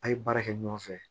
A' ye baara kɛ ɲɔgɔn fɛ